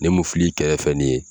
Ne mu fili kɛrɛfɛ ni ye